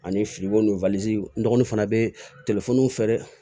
Ani n dɔgɔnin fana bɛ telefɔni feere